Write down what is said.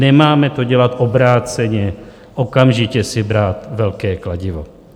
Nemáme to dělat obráceně, okamžitě si brát velké kladivo.